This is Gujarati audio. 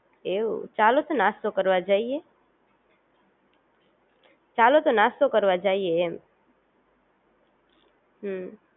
એવું ચાલો તો નાસ્તો કરવા જઇયે, ચાલો તો નાસ્તો કરવા જઇયે એમ હમ